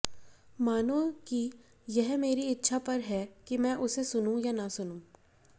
मानो कि यह मेरी इच्छा पर है कि मैं उसे सुनूं या न सुनूं